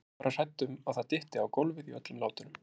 Ég yrði bara hrædd um að það dytti á gólfið í öllum látunum!